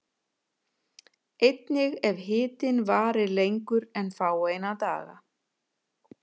Einnig ef hitinn varir lengur en fáeina daga.